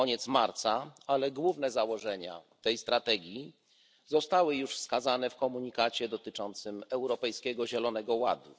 Jednak główne założenia tej strategii zostały już wskazane w komunikacie dotyczącym Europejskiego Zielonego Ładu.